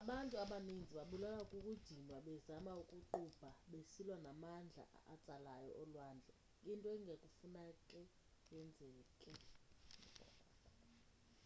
abantu abaninzi babulawa kukudinwa bezama ukuqubha besilwa namandla atsalayo olwandle into enganekufane yenzeke